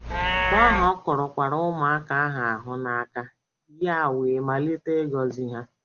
Mgbe ahụ, “ o kurukwaara ụmụaka ahụ ahụ n’aka ya wee malite ịgọzi ha. ”